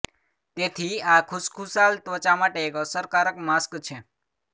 તેથી આ ખુશખુશાલ ત્વચા માટે એક અસરકારક માસ્ક છે